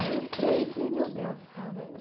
Aí eu entrei e falei, meu Deus do céu, né?